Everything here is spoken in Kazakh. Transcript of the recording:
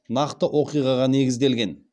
нақты оқиғаға негізделген